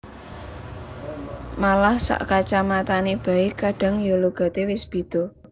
Malah sak kacamatan bae kadang ya logate wis beda